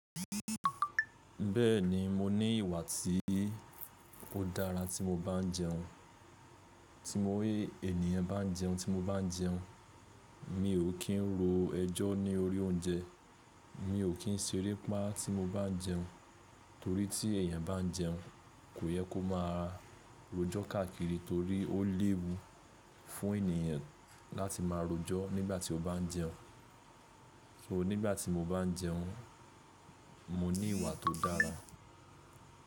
Bẹ́ẹ̀ni mo ní ìwà tí ó dára tí mo bá n jẹun, tí mo e ènìyàn bá n jẹun, tí mo bá n jẹun mi ò kí n ro ẹjọ́ ní orí oúnjẹ, mi ò kí ń seré pá tí mo bá jẹun, torí tí èèyàn bá n jẹun kò yẹ kó máa rojọ́ káàkiri torí ó léwu fún ènìyàn láti má rojọ́ nígbà tí ó bá n jẹun. So nígbà tí mo bá n jẹun mo ní ìwà tó dára.